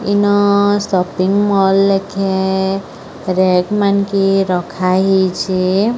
ଇନ shopping mall ଲେଖେ rate ମାନ୍ କି ରଖା ହେଇଛେ।